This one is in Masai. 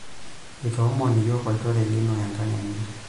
Eitoomon yiok olchore lino enkang enye.